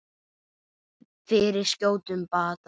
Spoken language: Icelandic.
Fyrir skjótum bata.